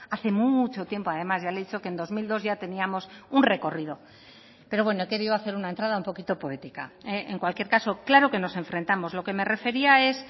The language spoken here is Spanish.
hace mucho tiempo además ya le he dicho que en dos mil dos ya teníamos un recorrido pero bueno he querido hacer una entrada un poquito poética en cualquier caso claro que nos enfrentamos lo que me refería es